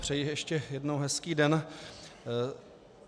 Přeji ještě jednou hezký den.